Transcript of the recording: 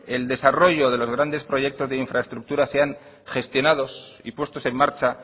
el desarrollo de los grandes proyectos de infraestructuras sean gestionados y puestos en marcha